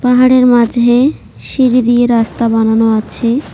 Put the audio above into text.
পাহাড়ের মাঝে সিঁড়ি দিয়ে রাস্তা বানানো আছে।